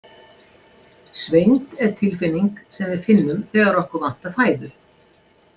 Svengd er tilfinning sem við finnum þegar okkur vantar fæðu.